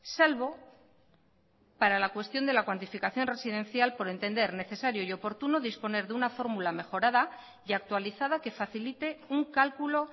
salvo para la cuestión de la cuantificación residencial por entender necesario y oportuno disponer de una fórmula mejorada y actualizada que facilite un cálculo